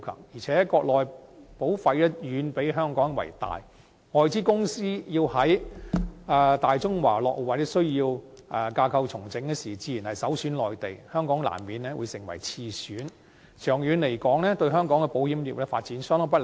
而且，國內保費總額遠比香港為大，外資公司要在大中華落戶或需要架構重組時，自然首選內地，香港難免會成為次選，長遠而言，對香港保險業的發展相當不利。